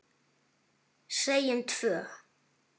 Segjum tvö.